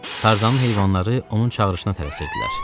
Tarzanın heyvanları onun çağırışına tələsirdilər.